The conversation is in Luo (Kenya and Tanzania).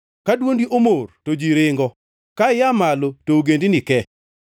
Ka dwondi omor to ji ringo; ka ia malo to ogendini ke.